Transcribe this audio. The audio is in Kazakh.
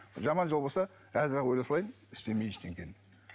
жаман жол болса қазір ақ өле салайын істемей ештеңені